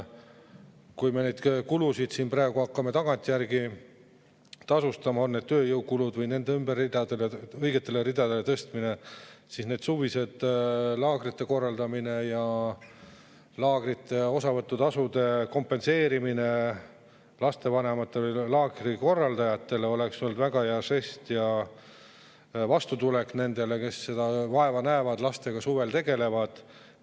Kui me neid kulusid praegu hakkame tagantjärgi, on need tööjõukulud või nende ümber tõstmine õigetele ridadele, siis suviste laagrite korraldamised, laagrite osavõtutasude kompenseerimine lastevanematele ja laagri korraldajatele oleks olnud väga hea žest ja vastutulek nendele, kes vaeva näevad ja lastega suvel tegelevad.